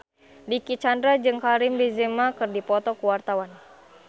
Dicky Chandra jeung Karim Benzema keur dipoto ku wartawan